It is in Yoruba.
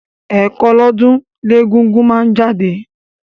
Ẹ̀kan lọ́dún ni egúngún máa ń jáde.